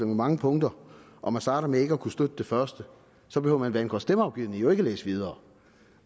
mange punkter og man starter med ikke at kunne støtte det første så behøver man hvad angår stemmeafgivning jo ikke læse videre